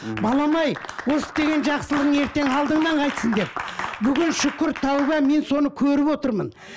балам ай осы істеген жақсылығың ертең алдыңан қайтсын деп бүгін шүкір тәубе мен соны көріп отырмын